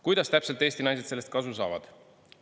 Kuidas täpselt Eesti naised sellest kasu saavad?